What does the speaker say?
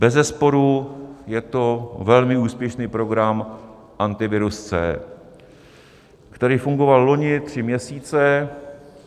Bezesporu je to velmi úspěšný program Antivirus C, který fungoval loni tři měsíce.